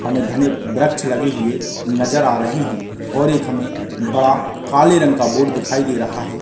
हमें घने वृक्ष लगे हुए नजर आ रहे है और एक हमें बड़ा काले रंग का बोर्ड दिखाई दे रहा है।